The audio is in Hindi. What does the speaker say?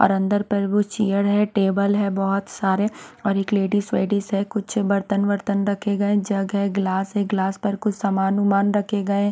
और अंदर पर वो चेयर है टेबल है बहुत सारे और एक लेडीज वेडीस है कुछ बर्तन वर्तन रखे गए जग है ग्लास है ग्लास पर कुछ समान वुमान रखे गए है।